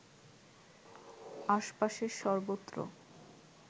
আশপাশের সর্বত্র